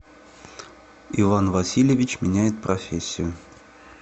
иван васильевич меняет профессию